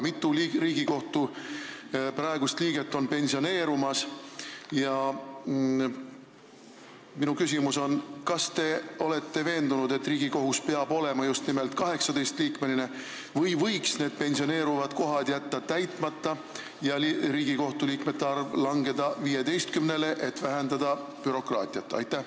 Mitu Riigikohtu praegust liiget on pensioneerumas ja minu küsimus on: kas te olete veendunud, et Riigikohus peab olema just nimelt 18-liikmeline või võiks need pensioneeruvad kohad jätta täitmata ja Riigikohtu liikmete arv langeda 15-ni, et vähendada bürokraatiat?